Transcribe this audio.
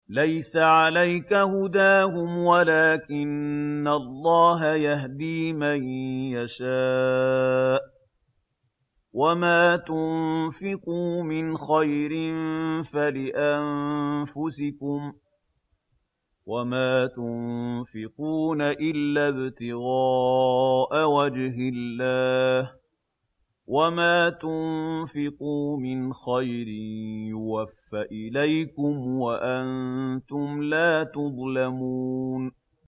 ۞ لَّيْسَ عَلَيْكَ هُدَاهُمْ وَلَٰكِنَّ اللَّهَ يَهْدِي مَن يَشَاءُ ۗ وَمَا تُنفِقُوا مِنْ خَيْرٍ فَلِأَنفُسِكُمْ ۚ وَمَا تُنفِقُونَ إِلَّا ابْتِغَاءَ وَجْهِ اللَّهِ ۚ وَمَا تُنفِقُوا مِنْ خَيْرٍ يُوَفَّ إِلَيْكُمْ وَأَنتُمْ لَا تُظْلَمُونَ